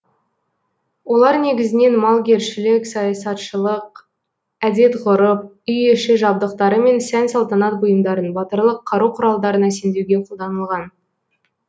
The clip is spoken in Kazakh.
олар негізінен малгершілік саясатшылық әдет ғүрып үй іші жабдықтары мен сән салтанат бұйымдарын батырлық қару құралдарын әсемдеуге қолданылған